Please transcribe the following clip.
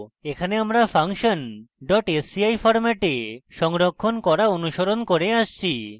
এখানে আমরা function sci ফরম্যাটে সংরক্ষণ করা অনুসরণ করে আসছি